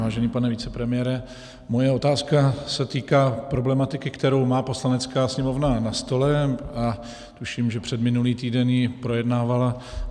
Vážený pane vicepremiére, moje otázka se týká problematiky, kterou má Poslanecká sněmovna na stole, a tuším, že předminulý týden ji projednávala.